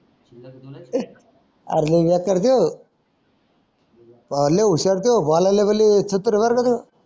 अरे लय ह्या करजो हलो